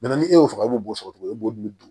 ni e y'o faga i b'o sɔrɔ cogo e b'o dun